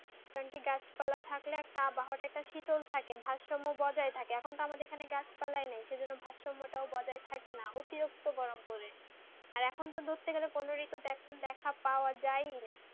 কারণ কি গাছ পালা থাকলে একটা আবহাওয়াটা একটা শীতল থাকে ভারসম্য বজাই থাকে এখন তো আমাদের এখানে গাছ পালাই নেই সেই জন্য ভারসম্যটা ওটাই বজাই থাকে না অতিরিক্ত গরম পরে আর এখন তো ধরতে গালে কোনো ঋতুতে দেখে পাওয়া যাই না